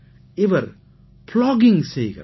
இவர் ப்ளாகிங் செய்கிறார்